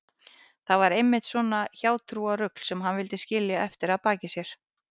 Það var einmitt svona hjátrúarrugl sem hann vildi skilja eftir að baki sér.